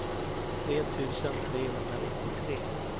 tre tusen trehundranittiotre